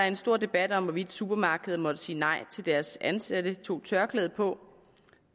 en stor debat om hvorvidt supermarkederne måtte sige nej til at deres ansatte tog tørklæde på